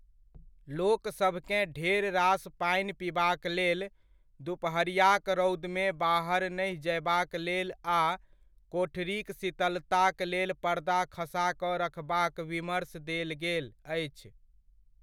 लोकसभकेँ ढेर रास पानि पिबाक लेल, दुपहरियाक रौदमे बाहर नहि जयबाक लेल आ कोठरीक शीतलताक लेल पर्दा खसा कऽ रखबाक विमर्श देल गेल अछि।